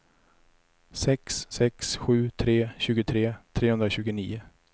sex sex sju tre tjugotre trehundratjugonio